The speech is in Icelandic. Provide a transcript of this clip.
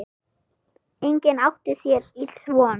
Enginn átti sér ills von.